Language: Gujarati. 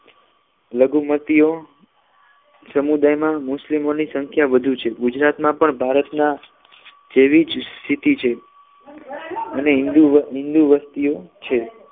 લઘુમતીઓ સમુદાય માં મુસ્લિમોની સંખ્યા વધુ છે ગુજરાતમાં પણ ભારતના જેવી સ્થિતિ છે અને હિન્દુ અને હિન્દુ વસ્તીઓ છે